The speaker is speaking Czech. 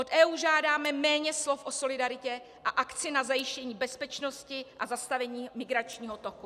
Od EU žádáme méně slov o solidaritě a akci na zajištění bezpečnosti a zastavení migračního toku.